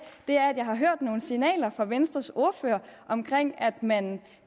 er at jeg har hørt nogle signaler fra venstres ordfører om at man